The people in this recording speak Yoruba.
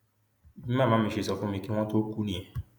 bí màmá mi ṣe sọ fún mi kí wọn tóó kú nìyẹn